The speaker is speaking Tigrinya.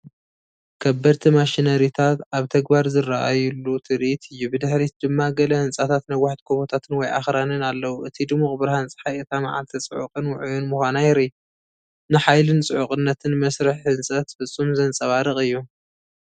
ከበድቲ ማሽነሪታት ኣብ ተግባር ዝረኣዩሉ ትርኢት እዩ፡፡ ብድሕሪት ድማ ገለ ህንጻታትን ነዋሕቲ ጎቦታትን ወይ ኣኽራንን ኣለዉ። እቲ ድሙቕ ብርሃን ጸሓይ፡ እታ መዓልቲ ጽዑቕን ውዑይን ምዃና የርኢ። ንሓይልን ጽዑቕነትን መስርሕ ህንጸት ፍጹም ዘንጸባርቕ እዩ!